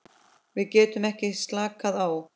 Við getum ekki slakað á.